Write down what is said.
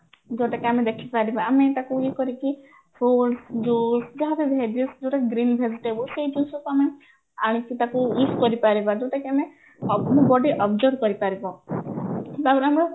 ଯୋଉଟା କି ଆମେ ଦେଖିପାରିବା ଆମେ ତାକୁ ଇଏ କରିକି fruitସ juice ଯାହା ବି vegies ଯୋଉଟା କି green vegetable ସେଇ ଜିନିଷଟା ଆମେ ଆଣିକି ତାକୁ use କରିପାରିବା ଯୋଉଟା କି ଆମେ observe କରିପାରିବା ତାପରେ ଆମେ